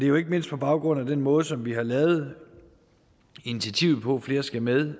jo ikke mindst på baggrund af den måde som vi har lavet initiativerne flere skal med